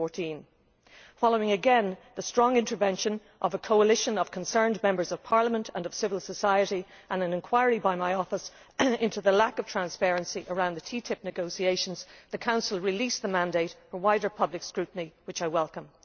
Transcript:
2014. Following, again, the strong intervention of a coalition of concerned Members of Parliament and civil society and an inquiry by my office into the lack of transparency around the TTIP negotiations, the Council released the mandate for wider public scrutiny, which I welcome.